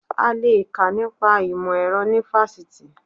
A le è kà nípa ìmọ̀ ẹ̀rọ ní fásitì